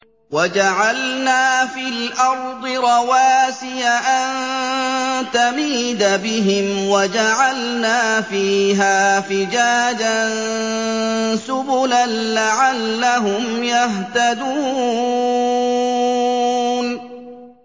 وَجَعَلْنَا فِي الْأَرْضِ رَوَاسِيَ أَن تَمِيدَ بِهِمْ وَجَعَلْنَا فِيهَا فِجَاجًا سُبُلًا لَّعَلَّهُمْ يَهْتَدُونَ